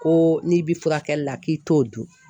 Ko n'i bi furakɛli la k'i t'o dun